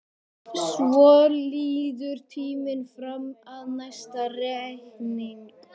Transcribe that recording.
Svo líður tíminn fram að næsta reikningi.